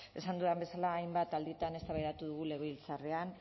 esan dudan bezala hainbat alditan eztabaidatu dugu legebiltzarrean